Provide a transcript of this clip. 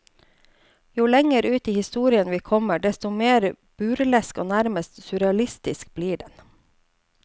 Jo lenger ut i historien vi kommer, desto mer burlesk og nærmest surrealistisk blir den.